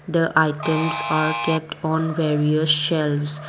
the items are kept on various shelves.